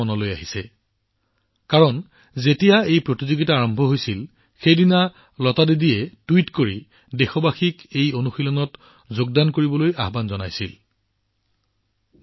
কিয়নো যিদিনা এই প্ৰতিযোগিতা আৰম্ভ হৈছিল লতা দিদিয়ে টুইট কৰি দেশবাসীক আহ্বান জনাইছিল যে তেওঁলোকে এই প্ৰচেষ্টাত অংশগ্ৰহণ কৰাটো আৱশ্যক